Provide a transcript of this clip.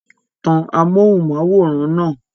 Tan amóhùnm'áwòrán náà!